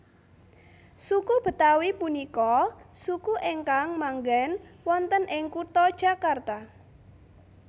Suku Betawi punika suku ingkang manggen wonten ing kutha Jakarta